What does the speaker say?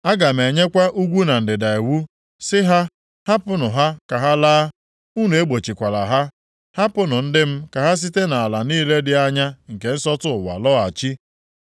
Aga m enyekwa ugwu na ndịda iwu sị ha, ‘Hapụnụ ha ka ha laa, unu egbochikwala ha.’ Hapụnụ ndị m ka ha site nʼala niile dị anya nke nsọtụ ụwa lọghachi,